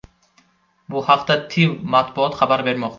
Bu haqda TIV matbuot xabar bermoqda .